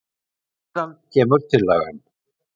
Síðan kemur tillagan.